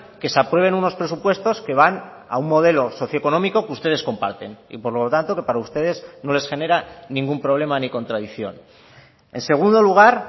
que se aprueben unos presupuestos que van a un modelo socioeconómico que ustedes comparten y por lo tanto que para ustedes no les genera ningún problema ni contradicción en segundo lugar